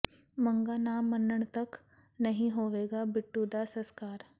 ਮੰਗਾਂ ਨਾ ਮੰਨਣ ਤੱਕ ਨਹੀਂ ਹੋਵੇਗਾ ਬਿੱਟੂ ਦਾ ਸਸਕਾਰ